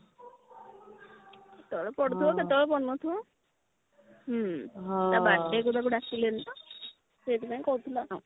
କେତେବେଳେ ପଡୁ ଥିବ କେତେବେଳେ ପଡୁ ନଥିବ ହଁ ତା birthday କୁ ତାକୁ ଡାକିଲେନି ତ ସେଇଥିପାଇଁ କହିଥିଲା ଆଉ